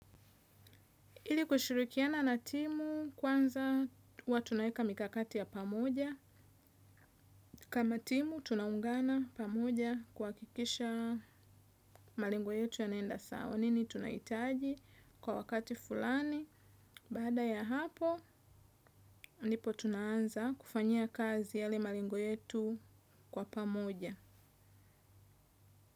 Ili kushirikiana na timu kwanza huwa tunaweka mikakati ya pamoja. Kama timu, tunaungana pamoja kuhakikisha marengo yetu yanaenda sawa. Nini tunahitaji kwa wakati fulani. Baada ya hapo, ndipo tunaanza kufanyia kazi yale malengo yetu kwa pamoja.